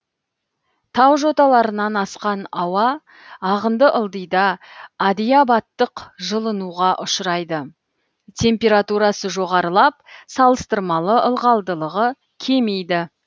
тау жоталарынан асқан ауа ағынды ылдида адиабаттық жылынуға ұшырайды температурасы жоғарылап салыстырмалы ылғалдылығы кемейді